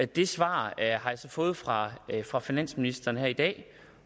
det svar har jeg så fået fra fra finansministeren her i dag